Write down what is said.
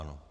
Ano.